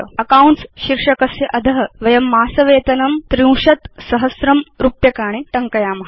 accounts शीर्षकस्य अध वयं मासवेतनं ३०००० रुपीस् 30000 रूप्यकाणि टङ्कयाम